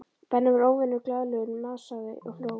Benni var óvenju glaðlegur, masaði og hló.